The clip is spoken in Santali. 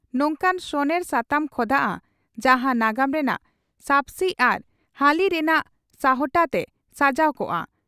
ᱱᱚᱝᱠᱟᱱ ᱥᱚᱱᱮᱨ ᱥᱟᱛᱟᱢ ᱠᱷᱚᱫᱟᱜᱼᱟ, ᱡᱟᱦᱟᱸ ᱱᱟᱜᱟᱢ ᱨᱮᱱᱟᱜ ᱥᱟᱵᱥᱤ ᱟᱨ ᱦᱟᱹᱞᱤ ᱨᱮᱱᱟᱜ ᱥᱟᱦᱴᱟ ᱛᱮ ᱥᱟᱡᱟᱣ ᱠᱚᱜᱼᱟ ᱾